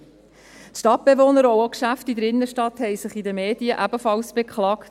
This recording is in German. Die Stadtbewohner und auch die Geschäfte in der Innenstadt haben sich in den Medien ebenfalls beklagt: